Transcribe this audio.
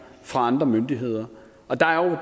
fra andre myndigheder